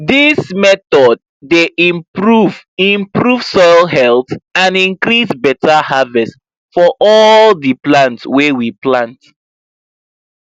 this method dey improve improve soil health and increase better harverst for all the palnt wy we plant